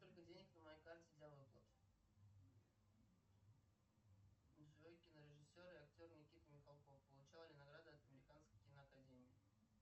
сколько денег на моей карте для выплат джой кинорежиссер и актер никита михалков получал ли награды от американской киноакадемии